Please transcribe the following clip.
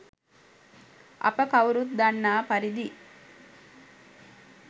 අප කවුරුත් දන්නා පරිදි